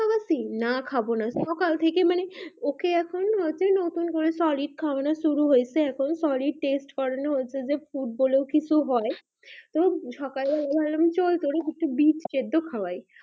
না খাবো না সকাল থেকে মানে ওকে মানে ওকে নতুন করে শরিক খাওয়ানো শুরু হয়েছে এখন যে ফুড বলে কিছু হয় সকালে একটা বিচ সেদ্দ করে খাওয়াই